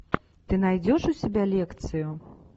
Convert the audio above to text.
ты найдешь у себя лекцию